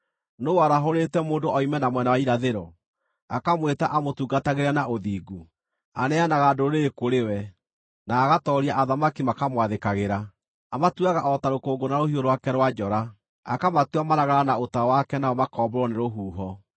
“Nũũ warahũrĩte mũndũ oime na mwena wa irathĩro, akamwĩta amũtungatagĩre na ũthingu? Aneanaga ndũrĩrĩ kũrĩ we, na agatooria athamaki makamwathĩkagĩra. Amatuuaga o ta rũkũngũ na rũhiũ rwake rwa njora, akamatua maragara na ũta wake nao makombũrwo nĩ rũhuho.